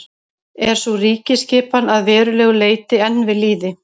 er sú ríkjaskipan að verulegu leyti enn við lýði